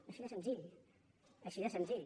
així de senzill així de senzill